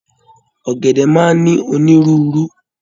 Ọgẹdẹ máa n ní onírúurú.